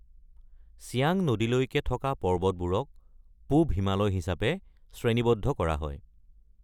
চিয়াং নদীলৈকে পৰ্বতবোৰক পূৱ হিমালয় হিচাপে শ্ৰেণীবদ্ধ কৰা হয়।